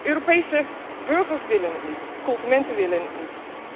Europese burgers willen het niet, de consumenten willen het niet.